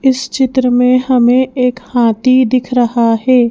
इस चित्र में हमें एक हाथी दिख रहा है।